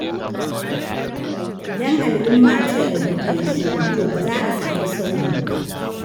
Idan al’umma ta yarda ta yi shiru, to ba za a sami sauyi ba.